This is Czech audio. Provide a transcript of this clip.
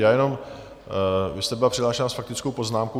Já jenom, vy jste byla přihlášena s faktickou poznámkou.